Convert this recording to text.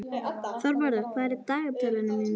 Þorvarður, hvað er í dagatalinu mínu í dag?